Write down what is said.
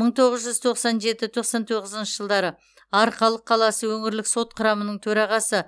мың тоғыз жүз тоқсан жеті тоқсан тоғызыншы жылдары арқалық қаласы өңірлік сот құрамының төрағасы